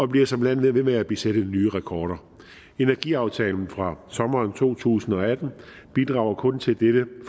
bliver som land ved med at sætte nye rekorder energiaftalen fra sommeren to tusind og atten bidrager kun til dette